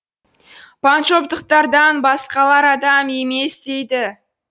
панджобтықтардан басқалар адам емес дейді